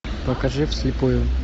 покажи вслепую